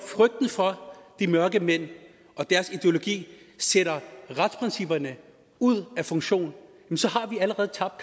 frygt for de mørkemænd og deres ideologi sætter retsprincipperne ud af funktion har vi allerede tabt